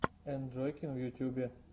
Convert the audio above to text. энджойкин в ютюбе